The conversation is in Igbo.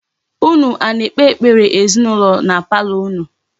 Unu a na-ekpe ekpere ezinụlọ na palọ unu?